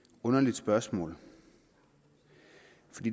spørgsmålet